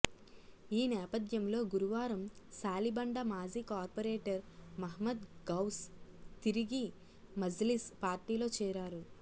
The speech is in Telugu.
ఈ నేపథ్యంలో గురువారం శాలిబండ మాజీ కార్పొరేటర్ మహ్మద్ గౌస్ తిరిగి మజ్లిస్ పార్టీలో చేరారు